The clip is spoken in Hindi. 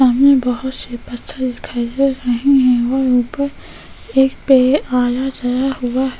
सामने बहुत से पत्थर दिखाई दे रहे हैं और ऊपर एक पे आया जरा हुआ है --